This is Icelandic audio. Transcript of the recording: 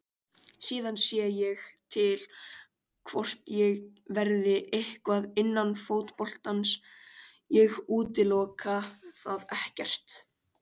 Síðan sé ég til hvort ég verði eitthvað innan fótboltans, ég útiloka það ekkert.